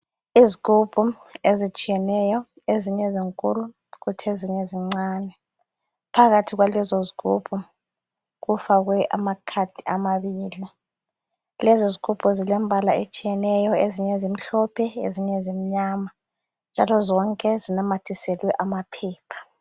Izigubhu ezitshiyeneyo, ezinye zinkulu kuthi ezinye zincane. Phakathi kwalezo zigubhu kufakwe amakhadi amabela .Lezi zigubhu zilembala etshiyeneyo, ezinye zimhlophe ezinye zimnyama njalo zonke zinamathiselwe amaphepha.